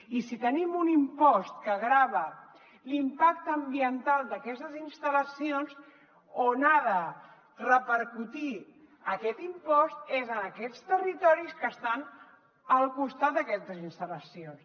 i si tenim un impost que grava l’impacte ambiental d’aquestes instal·lacions on ha de repercutir aquest impost és en aquests territoris que estan al costat d’aquestes instal·lacions